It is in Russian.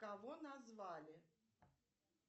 кого назвали